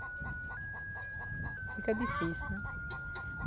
Fica difícil, né?